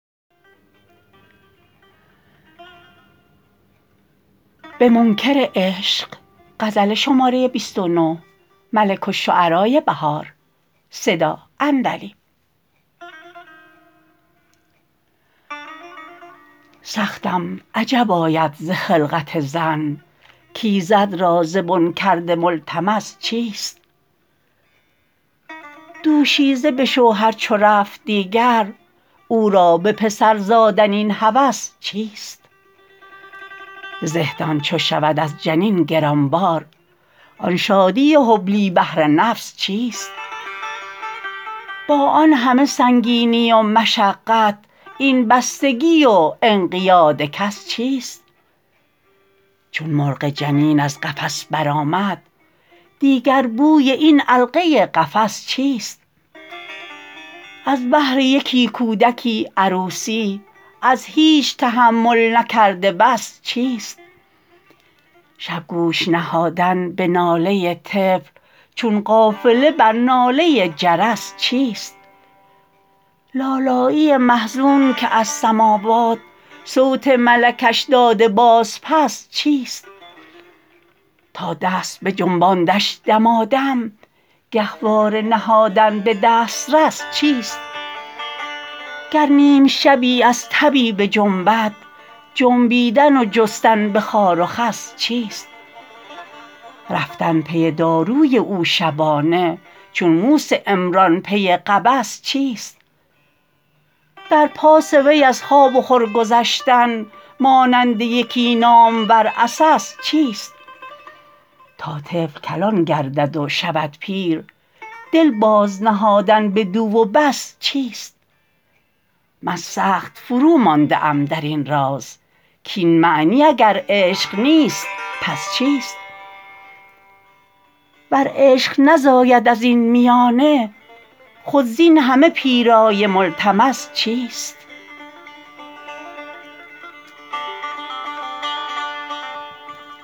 سختم عجب آید ز خلقت زن کایزد را زین کرده ملتمس چیست دوشیزه به شوهر چو رفت دیگر او را به پسر زادن این هوس چیست زهدان چو شود از جنین گرانبار آن شادی حبلی به هر نفس چیست با آن همه سنگینی و مشقت این بستگی و انقیاد کس چیست چون مرغ جنین از قفس برآمد دیگر بوی این علقه قفس چیست از بهر یکی کودکی عروسی از هیچ تحمل نکرده بس چیست شب گوش نهادن به ناله طفل چون قافله بر ناله جرس چیست لالایی محزون که از سموات صوت ملکش داده باز پس چیست تا دست بجنباندش دمادم گهواره نهادن به دسترس چیست گر نیمشبی از تبی بجنبد جنبیدن و جستن به خار و خس چیست رفتن پی داروی او شبانه چون موس عمران پی قبس چیست در پاس وی از خواب و خورگذشتن مانند یکی نامور عسس چیست تا طفل کلان گردد و شود پیر دل بازنهادن بدو و بس چیست من سخت فرومانده ام در این راز کاین معنی اگرعشق نیست پس چیست ور عشق نزاید از این میانه خود زاین همه پیرایه ملتمس چیست